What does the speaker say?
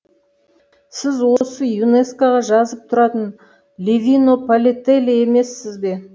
сіз осы юнескоға жазып тұратын ливино палетелли емессіз бе